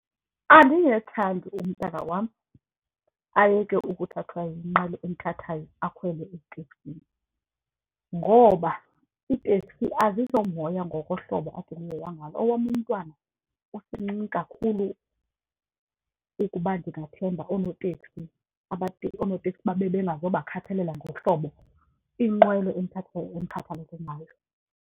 Andingethandi umntana wam ayeke ukuthathwa yinqwelo emthathayo akhwele eteksini ngoba iiteksi azizomoya ngokohlobo ngalo. Owam umntwana usemncinci kakhulu ukuba ndingathemba oonoteksi oonotekisi babe bengazubakhathalela ngohlobo inqwelo emkhathalele ngayo.